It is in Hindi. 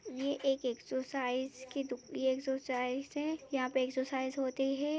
ये एक एक्सोसाइस की दु ये एक्सोसाइस है यहाँ पे एक्सरसाइज होती है।